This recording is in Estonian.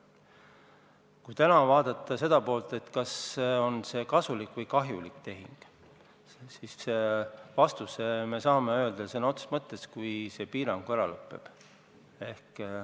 Kui täna küsida, kas see on kasulik või kahjulik tehing, siis vastuse me saame öelda siis, kui see piirang ära lõppeb.